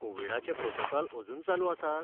कोविडाचें protocol अजून चालू आसात?